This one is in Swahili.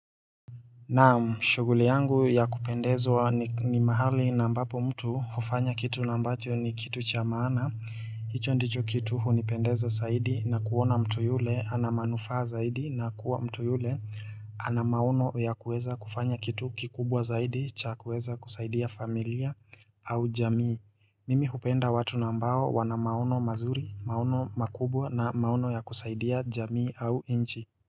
Na'am shughuli yangu ya kupendezwa ni mahali na ambapo mtu hufanya kitu na ambacho ni kitu cha maana hicho ndicho kitu hunipendeza zaidi na kuona mtu yule ana manufaa zaidi na kuwa mtu yule ana maono ya kuweza kufanya kitu kikubwa zaidi cha kuweza kusaidia familia au jamii Mimi hupenda watu na ambao wana maono mazuri maono makubwa na maono ya kusaidia jamii au nchi.